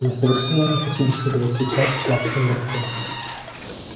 я совершенно не хочу беседовать сейчас с плаксой миртл